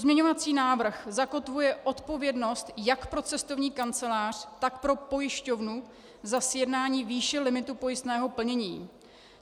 Pozměňovací návrh zakotvuje odpovědnost jak pro cestovní kancelář, tak pro pojišťovnu za sjednání výše limitu pojistného plnění.